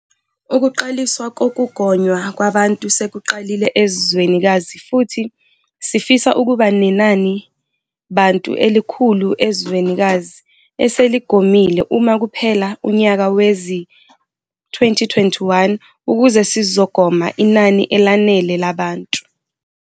Ukuqaliswa kokugonywa kwabantu sekuqalile ezwenikazi futhi sifisa ukuba nenanibantu elikhulu ezwenikazi eseligomile uma kuphela unyaka wezi-2021 ukuze sizogoma inani elanele labantu.